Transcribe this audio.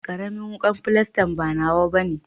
Karamin wukan filastan ba nawa bane.